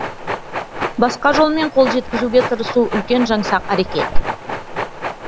басқа жолмен қол жеткізуге тырысу үлкен жаңсақ әрекет